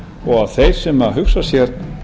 og þeir sem hugsa sér